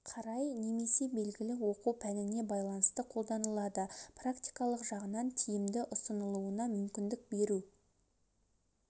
қарай немесе белгілі оқу пәніне байланысты қолданылады практикалық жағынан тиімді ұсынылуына мүмкіндік беру